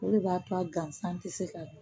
O de b'a to a gansan tɛ se ka